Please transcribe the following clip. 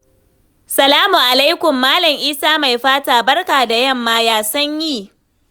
Salamu alaikum, Malam Isa Maifata, barka da yamma, ya sanyi?